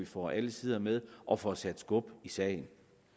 får alle sider med og får sat skub i sagen